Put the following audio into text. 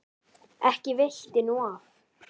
Ekki veitti nú af.